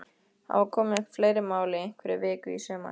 Hafa komið upp fleiri mál í einhverri viku í sumar?